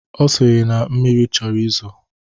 Ọ sịrị na mmiri chọrọ izo